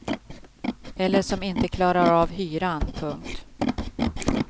Eller som inte klarar av hyran. punkt